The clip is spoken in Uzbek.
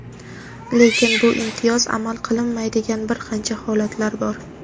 Lekin bu imtiyoz amal qilmaydigan bir qancha holatlar bor.